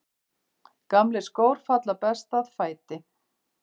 Gamlir skór falla best að fæti.